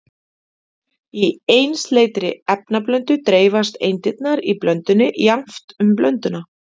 Í einsleitri efnablöndu dreifast eindirnar í blöndunni jafnt um blönduna.